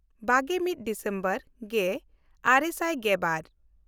ᱵᱟᱜᱮᱼᱢᱤᱫ December ᱜᱮᱼᱟᱨᱮ ᱥᱟᱭ ᱜᱮᱵᱟᱨ